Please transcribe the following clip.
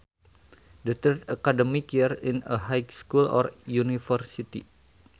The third academic year in a high school or university